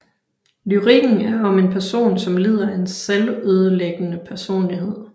Lyrikken er om en person som lider af en selvødelæggende personlighed